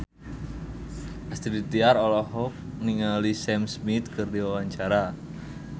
Astrid Tiar olohok ningali Sam Smith keur diwawancara